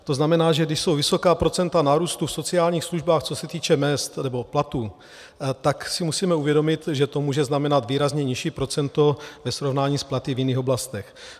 To znamená, že když jsou vysoká procenta nárůstu v sociálních službách, co se týče mezd nebo platů, tak si musíme uvědomit, že to může znamenat výrazně nižší procento ve srovnání s platy v jiných oblastech.